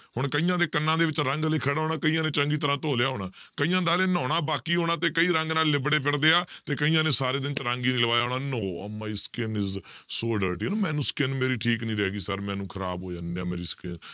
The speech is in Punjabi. ਹੁਣ ਕਈਆਂ ਦੇ ਕੰਨਾਂ ਦੇ ਵਿੱਚ ਰੰਗ ਹਾਲੇ ਖੜਾ ਹੋਣਾ ਕਈਆਂ ਨੇ ਚੰਗੀ ਤਰ੍ਹਾਂ ਧੋ ਲਿਆ ਹੋਣਾ, ਕਈਆਂਂ ਦਾ ਹਾਲੇ ਨਹਾਉਣਾ ਬਾਕੀ ਹੋਣਾ ਤੇ ਕਈ ਰੰਗ ਨਾਲ ਲਿਬੜੇ ਫਿਰਦੇ ਆ, ਤੇ ਕਈਆਂ ਨੇ ਸਾਰੇ ਦਿਨ ਰੰਗ ਹੀ ਨੀ ਲਵਾਇਆ ਹੋਣਾ no my skin is so dirty ਮੈਨੂੰ skin ਮੇਰੀ ਠੀਕ ਨੀ ਰਹੇਗੀ sir ਮੈਨੂੰ ਖ਼ਰਾਬ ਹੋ ਜਾਂਦੀ ਮੇਰੀ skin